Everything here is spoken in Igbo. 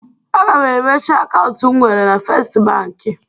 Aga m emechi akaụntụ m nwere na Festi Bankị.